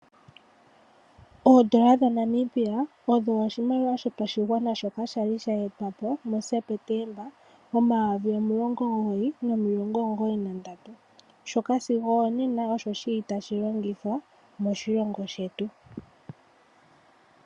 Oondola dhaNamibia odho oshimaliwa shopashigwana shoka sha totwa po muaSepetemba 1993, shoka shi li sigo onena tashi longithwa moshilongo shetu.